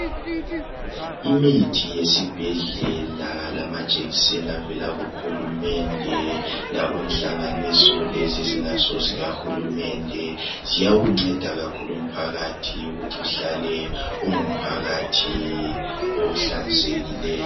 Imithi yesibhedlela lamajekiseni avela kuhulumende lakuhlanganiso lezi ezingasozika hulumende ziyakunceda kakhulu mphakathi ukuthi uhlale ungumphakathi ohlanzekileyo.